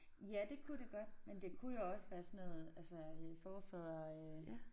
Ja det kunne det godt men det kunne jo også være sådan noget altså øh forfædre øh